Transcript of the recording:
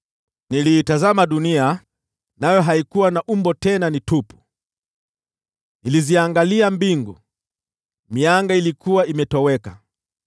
Niliitazama dunia, nayo haikuwa na umbo tena ni tupu; niliziangalia mbingu, mianga ilikuwa imetoweka.